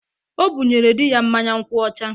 O bụnyere di ya mmanya nkwu ọcha.